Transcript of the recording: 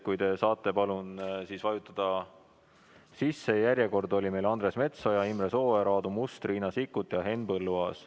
Järjekord oli meil selline: Andres Metsoja, Imre Sooäär, Aadu Must, Riina Sikkut ja Henn Põlluaas.